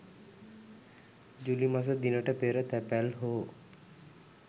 ජූලි මස දිනට පෙර තැපැල් හෝ